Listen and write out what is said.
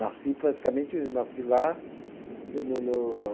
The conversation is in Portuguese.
Nasci praticamente, nasci lá. No no no